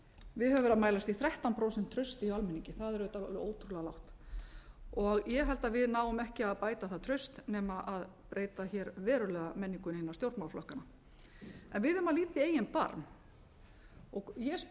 við höfum verið að mælast í þrettán prósent trausti hjá almenningi það er auðvitað alveg ótrúlega lágt ég held að við náum ekki að bæta það traust nema breyta hér verulega menningunni innan stjórnmálaflokkanna við eigum að líta í eigin barm ég spyr sjálfa mig